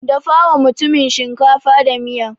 Dafawa mutumin shinkafa da miya.